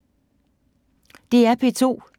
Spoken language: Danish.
DR P2